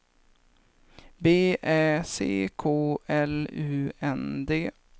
B Ä C K L U N D